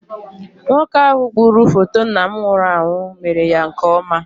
Nwoke ahụ gburu foto nna m nwụrụ anwụ mere ya nke ọma.